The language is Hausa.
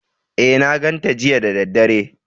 E, na ganta jiya da daddare.